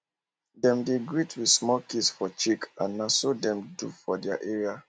dem dey greet with small kiss for cheek and na so dem do for their area